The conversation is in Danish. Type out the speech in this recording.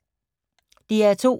DR P2